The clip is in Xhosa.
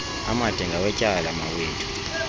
amade ngawetyala mawethu